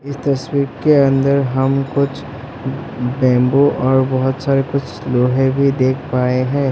इस तस्वीर के अंदर हम कुछ बेम्बु और बहोत सारे कुछ लोहे भी देख पाए हैं।